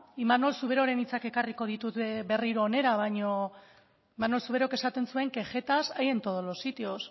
imanol zuberoren hitzak ekarriko ditut berriro ona imanol zuberok esaten zuen que jetas hay en todos los sitios